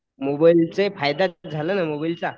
मोबाईलचे फायदा झाला ना मोबाईलचा